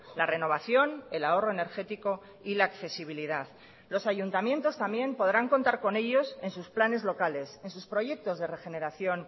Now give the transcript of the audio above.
la renovación el ahorro energético y la accesibilidad los ayuntamientos también podrán contar con ellos en sus planes locales en sus proyectos de regeneración